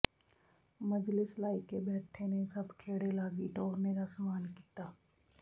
ਮਜਲਿਸ ਲਾਇਕੇ ਬੈਠੇ ਨੇ ਸਭ ਖੇੜੇ ਲਾਗੀ ਟੋਰਨੇ ਦਾ ਸਾਮਾਨ ਕੀਤਾ